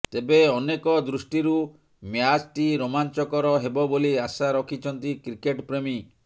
ତେବେ ଅନେକ ଦୃଷ୍ଟିରୁ ମ୍ୟାଚ୍ଟି ରୋମାଂଚକର ହେବ ବୋଲି ଆଶା ରଖିଛନ୍ତି କ୍ରିକେଟ ପ୍ରେମୀ